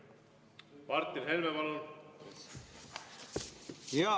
Martin Helme, palun!